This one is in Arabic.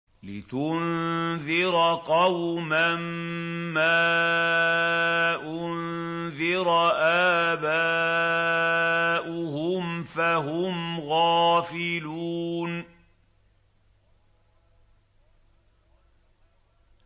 لِتُنذِرَ قَوْمًا مَّا أُنذِرَ آبَاؤُهُمْ فَهُمْ غَافِلُونَ